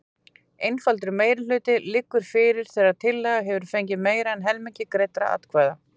Einfaldur meirihluti liggur fyrir þegar tillaga hefur fengið meira en helming greiddra atkvæða.